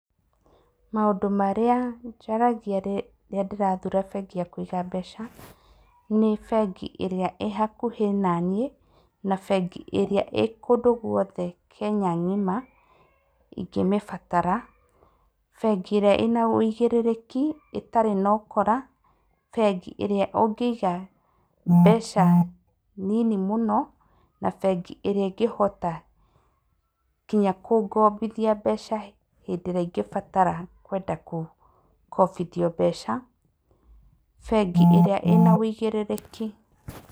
Maũndũ marĩa njaragia rĩrĩa ndĩrathura bengi ya kũiga mbeca, nĩ bengi ĩrĩa ĩhakuhĩ naniĩ, na bengi ĩrĩa ĩkũndũ gwothe Kenya ng'ima ingĩmĩbatara, bengi ĩrĩa ĩna wĩigĩrĩrĩki, ĩtarĩ na ũkora, bengi ĩrĩa ũngĩiga mbeca nini mũno, na bengi ĩrĩa ĩngĩhota ngina kũngobithia mbeca hĩndĩ ĩrĩa ingĩbatara kwenda kũkobithio mbeca, bengi ĩrĩa ĩna wĩigĩrĩrĩki.